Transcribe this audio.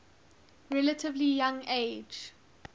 relatively young age